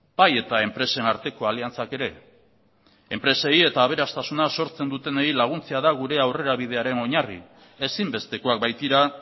bai eta enpresen arteko aliantzak ere enpresei eta aberastasuna sortzen dutenei laguntzea da gure aurrerabidearen oinarri ezinbestekoak baitira